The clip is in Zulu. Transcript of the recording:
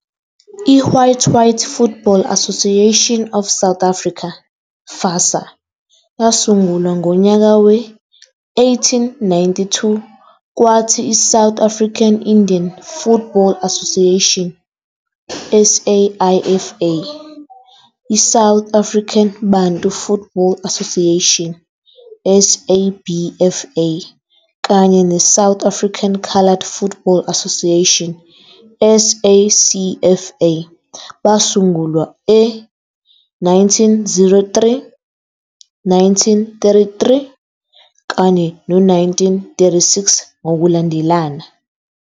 I-white-white Football Association of South Africa, FASA, yasungulwa ngonyaka we-1892, kwathi iSouth African Indian Football Association, SAIFA, iSouth African Bantu Football Association, SABFA, kanye neSouth African Colored Football Association, SACFA, basungulwa e 1903, 1933 kanye no-1936 ngokulandelana.